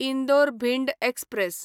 Indore Bhind express